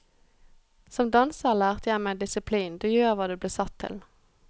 Som danser lærte jeg meg disiplin, du gjør hva du blir satt til.